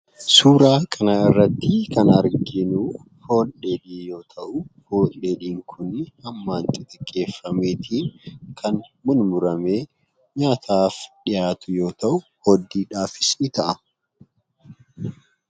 Suuraa kana irratti kan arginu, foon dheedhii yoo ta'u, foon dheedhii Kun hammaan xixxiqqeeffameeti kan mummurame nyaataaf dhihaatu yoo ta'u hooddiidhaafis ni ta'a.